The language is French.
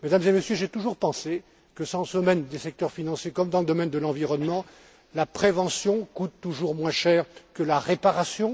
Mesdames et Messieurs, j'ai toujours pensé que, dans le domaine des secteurs financiers comme dans le domaine de l'environnement, la prévention coûte toujours moins cher que la réparation.